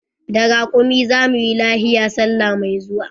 Da rakumi za mu yi lahiya salla mai zuwa.